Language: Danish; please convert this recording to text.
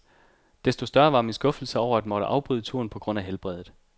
Desto større var min skuffelse over at måtte afbryde turen på grund af helbredet.